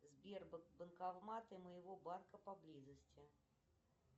сбер банкоматы моего банка поблизости